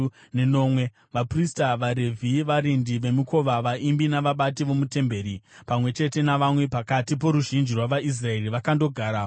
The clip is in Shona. Vaprista, vaRevhi, varindi vemikova, vaimbi navabati vomutemberi, pamwe chete navamwe pakati poruzhinji rwavaIsraeri, vakandogara mumaguta avo.